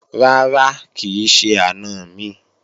Rárá, kì í ṣe àna mi